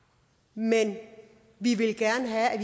men vi ville gerne have at